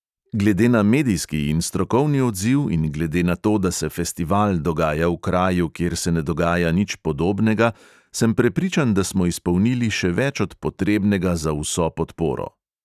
Glede na medijski in strokovni odziv in glede na to, da se festival dogaja v kraju, kjer se ne dogaja nič podobnega, sem prepričan, da smo izpolnili še več od potrebnega za vso podporo.